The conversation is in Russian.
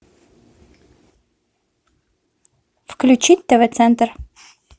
включить тв центр